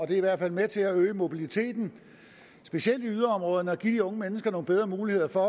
det er i hvert fald med til at øge mobiliteten specielt i yderområderne at give de unge mennesker bedre mulighed for